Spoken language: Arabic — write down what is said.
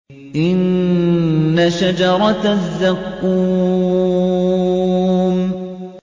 إِنَّ شَجَرَتَ الزَّقُّومِ